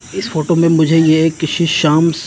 इस फोटो में मुझे ये किसी शाम स--